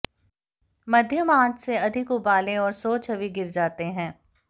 मध्यम आंच से अधिक उबालें और सो छवि गिर जाते हैं